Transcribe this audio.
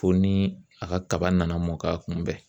Fo ni a ka kaba nana mɔ k'a kunbɛn